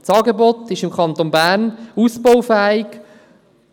Das Angebot im Kanton Bern ist ausbaufähig,